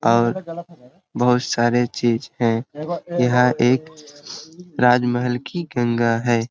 और बहुत सारे चीज है यहाँ एक राजमहल की गंगा है।